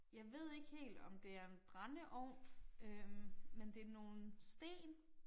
Jeg ved ikke helt om det er en brændeovn øh men det nogle sten